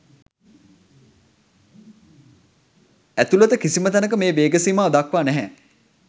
ඇතුළත කිසිම තැනක මේ වේග සීමා දක්වා නැහැ.